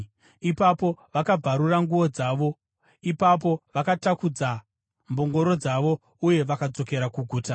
Ipapo, vakabvarura nguo dzavo. Ipapo vakatakudza mbongoro dzavo uye vakadzokera kuguta.